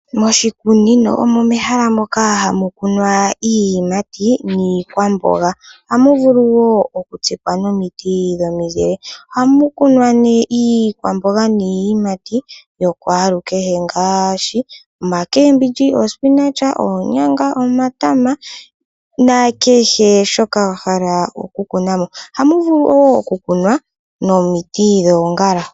Moshikunino omo mehala moka hamu kunwa iiyimati niikwamboga. Oha mu vulu wo oku tsikwa nomiiti dhomizile. Oha mu kunwa iikwamboga yakwalu kehe ngaashi omboga yuushimba, osinach, oonyanga, omatama nakehe shoka wa hala oku kuna mo. Ohamu vulu wo oku kunwa nomiiti dhoongala.